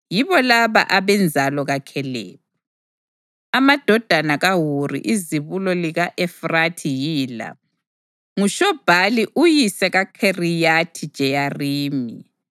Yibo laba abenzalo kaKhalebi. Amadodana kaHuri izibulo lika-Efrathi yila: nguShobhali uyise kaKhiriyathi-Jeyarimi,